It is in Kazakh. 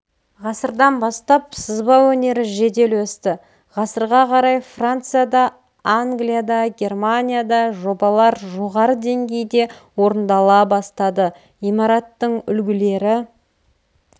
ғасырдан бастап сызба өнері жедел өсті ғасырға қарай францияда англияда германияда жобалар жоғары деңгейде орындала бастады имараттың үлгілері